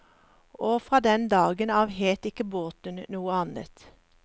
Og fra den dagen av het ikke båten noe annet.